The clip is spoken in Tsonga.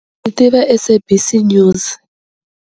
Ni tiva SABC News.